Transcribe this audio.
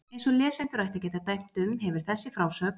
Eins og lesendur ættu að geta dæmt um, hefur þessi frásögn